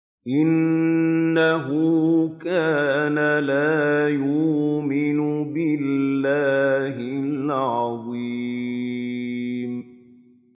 إِنَّهُ كَانَ لَا يُؤْمِنُ بِاللَّهِ الْعَظِيمِ